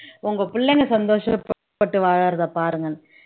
உங்க பிள்ளைங்க சந்தோஷப்பட்டு வாழ்றதை பாருங்கன்னு